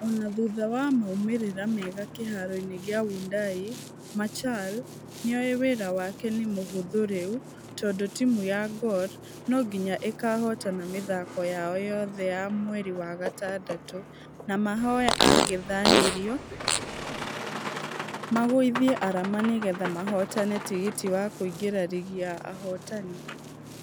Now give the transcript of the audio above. Ona thutha wa maumerĩra mega kĩharo-inĩ gĩa wundanyi micharl nĩowe wĩra wake nĩ mũhũthũ rĩu tũndũ timũ ya gor nũginya ĩkahotana mĩthako yao yothe ya mweri wa gatandatũ Na mahoye angethanĩriao magũithie arama nĩgetha mahotane tigiti wa kùingĩra rigi ya ahotani.